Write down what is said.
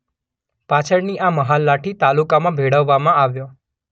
પાછળની આ મહાલ લાઠી તાલુકામાં ભેળવવામાં આવ્યો.